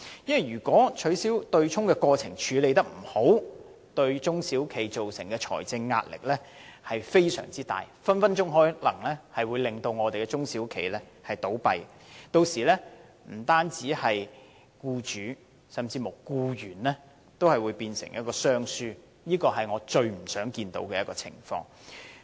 如果取消對沖機制的過程處理得不好，對中小企造成非常大的財政壓力，隨時可能令中小企倒閉，屆時不僅對僱主，甚至對僱員也會有影響，變成雙輸，這是我最不想看到的情況。